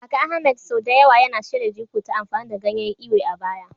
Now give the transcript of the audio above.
Kaka Ahmed sau da yawa yana shirya jiko ta amfani da ganyen Ewe a baya.